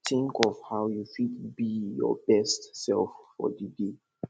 think of how you fit be your best self for di day